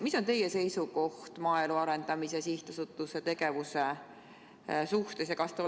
Mis on teie seisukoht maaelu arendamise sihtasutuse tegevuse suhtes?